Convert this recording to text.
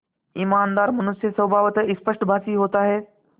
ईमानदार मनुष्य स्वभावतः स्पष्टभाषी होता है